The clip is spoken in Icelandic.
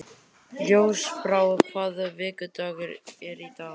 Ljósbrá, hvaða vikudagur er í dag?